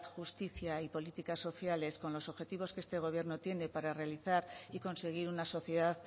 justicia y políticas sociales con los objetivos que este gobierno tiene para realizar y conseguir una sociedad